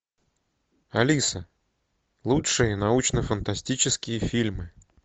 алиса лучшие научно фантастические фильмы